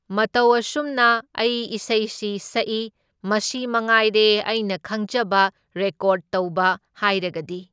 ꯃꯇꯧ ꯑꯁꯨꯝꯅ ꯑꯩ ꯏꯁꯩꯁꯤ ꯁꯛꯢ, ꯃꯁꯤ ꯃꯉꯥꯏꯔꯦ ꯑꯩꯅ ꯈꯪꯖꯕ ꯔꯦꯀꯣꯔꯗ ꯇꯧꯕ ꯍꯥꯏꯔꯒꯗꯤ꯫